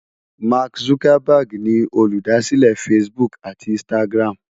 Mark Zuckerberg ni olùdásílẹ̀ Facebook àti Instagram.